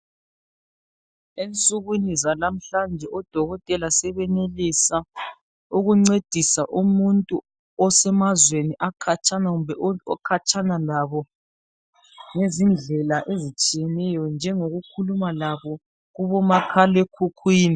Ensukwini zanamuhlanje odokotela sebenelisa ukuncedisa umuntu osemazweni akhatshana kumbe okhatshana labo ngezindlela ezitshiyeneyo njengokukhuluma labo kubo makhalekhukhwini.